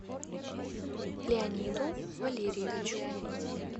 леониду валерьевичу